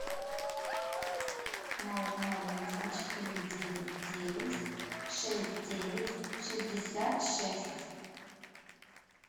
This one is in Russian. ноль ноль один четыре девять девять шесть девять шестьдесят шесть